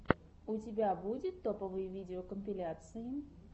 у тебя будет топовые видеокомпиляции